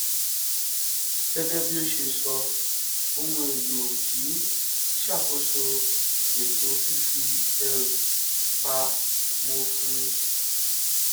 gégé bí ó ṣe sọ ohun èlò yìí ń ṣàkóso ètò fífi ẹrù pa mó fún